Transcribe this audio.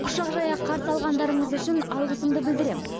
құшақ жая қарсы алғандарыңыз үшін алғысымды білдіремін